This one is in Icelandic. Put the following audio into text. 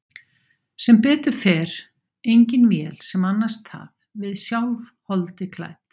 Sem betur fer engin vél sem annast það, við sjálf, holdi klædd.